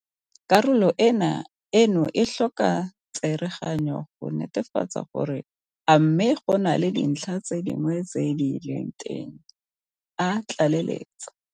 Karolo eno e tlhoka tsereganyo go netefatsa gore a mme go na le dintlha tse dingwe tse di leng teng a tlaleletsa.